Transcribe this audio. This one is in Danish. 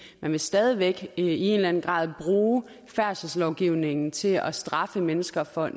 vil stadig væk i en eller anden grad bruge færdselslovgivningen til at straffe mennesker for